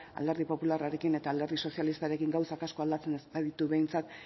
alderdi popularrarekin eta alderdi sozialistarekin gauzak asko aldatzen ez baditu behintzat